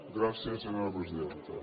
gràcies senyora presidenta